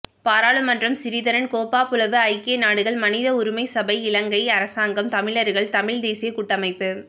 பாராளுமன்றம் சிறிதரன் கேப்பாபுலவு ஐக்கிய நாடுகள் மனித உரிமை சபை இலங்கை அரசாங்கம் தமிழர்கள் தமிழ்த் தேசியக் கூட்டமைப்பு